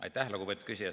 Aitäh, lugupeetud küsija!